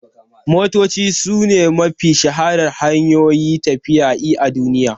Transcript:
Motoci sune mafi shaharar hanyoyin tafiya i a duniya.